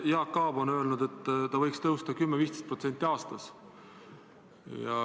Jaak Aab on öelnud, et hind võiks tõusta 10–15% aastas.